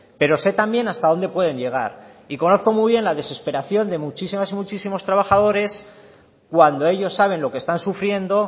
pero sé también hasta dónde pueden llegar y conozco muy bien la desesperación de muchísimas y muchísimos trabajadores cuando ellos saben lo que están sufriendo